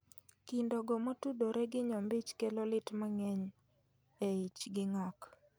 Kindo go motudore gi nyombich kelo lit mang'eny e ich gi ng'ok